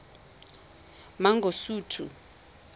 mangosuthu